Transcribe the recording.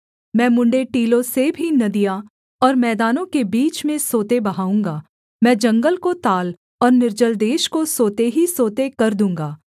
मैं मुँण्ड़े टीलों से भी नदियाँ और मैदानों के बीच में सोते बहाऊँगा मैं जंगल को ताल और निर्जल देश को सोते ही सोते कर दूँगा